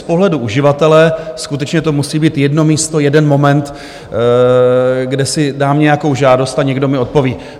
Z pohledu uživatele skutečně to musí být jedno místo, jeden moment, kde si dám nějakou žádost a někdo mi odpoví.